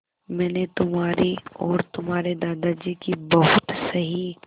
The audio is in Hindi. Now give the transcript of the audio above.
मैंने तुम्हारी और तुम्हारे दादाजी की बहुत सही